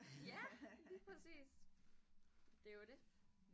Ja lige præcis det jo det